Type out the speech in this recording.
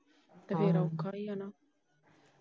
ਤੇ ਫਿਰ ਔਖਾ ਈ ਏ ਨਾ।